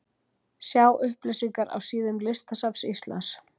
Sjá upplýsingar á síðum listasafns Íslands.